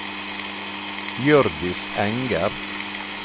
Hjørdis Enger